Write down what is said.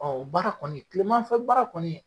Ɔ o baara kɔni kilema fɛ baara kɔni